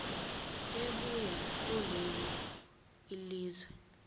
ebuya kulelo lizwe